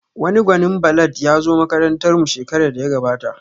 Wani gwanin ballad ya zo makarantar mu shekarar da ya gabata